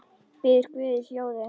Biður guð í hljóði.